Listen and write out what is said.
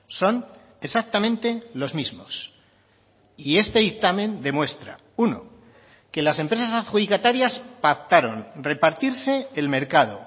son exactamente los mismos y este dictamen demuestra uno que las empresas adjudicatarias pactaron repartirse el mercado